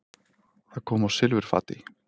Það kom á silfurfati.